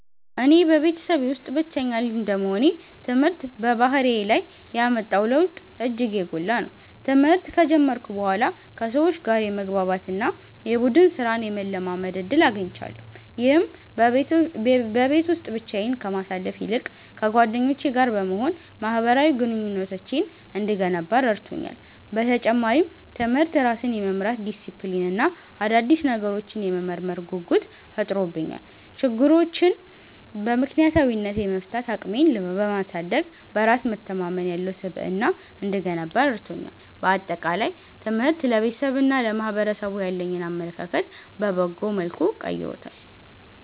እኔ በቤተሰቤ ውስጥ ብቸኛ ልጅ እንደመሆኔ፣ ትምህርት በባህሪዬ ላይ ያመጣው ለውጥ እጅግ የጎላ ነው። ትምህርት ከጀመርኩ በኋላ ከሰዎች ጋር የመግባባት እና የቡድን ሥራን የመለማመድ ዕድል አግኝቻለሁ። ይህም በቤት ውስጥ ብቻዬን ከማሳልፍ ይልቅ ከጓደኞቼ ጋር በመሆን ማኅበራዊ ግንኙነቴን እንድገነባ ረድቶኛል። በተጨማሪም፣ ትምህርት ራስን የመምራት ዲሲፕሊን እና አዳዲስ ነገሮችን የመመርመር ጉጉት ፈጥሮብኛል። ችግሮችን በምክንያታዊነት የመፍታት አቅሜን በማሳደግ፣ በራስ መተማመን ያለው ስብዕና እንድገነባ ረድቶኛል። በአጠቃላይ፣ ትምህርት ለቤተሰቤና ለማኅበረሰቡ ያለኝን አመለካከት በበጎ መልኩ ቀይሮታል።